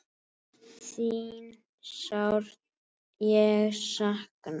Þín sárt ég sakna.